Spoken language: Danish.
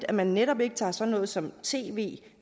at man netop ikke tager sådan noget som tv